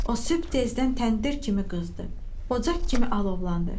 O sübh tezdən təndir kimi qızdı, ocaq kimi alovlandı.